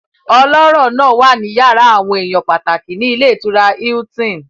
Ọlọ́rọ̀ náà wà ní yàrá àwọn èèyàn pàtàkì ní ilé ìtura Hilton